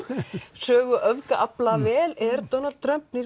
sögu öfgaafla vel er Donald Trump